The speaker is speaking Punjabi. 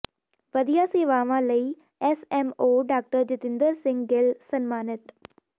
ਵਧੀਆ ਸੇਵਾਵਾਂ ਲਈ S M O doctor Jatinder Singh Gill ਸਨਮਾਨਿਤ